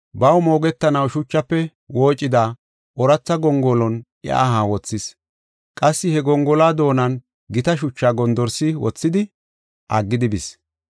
Baw moogetanaw shuchafe woocida ooratha gongolon iya aha wothis. Qassi he gongoluwa doonan gita shuchaa gondorsi wothidi, aggidi bis.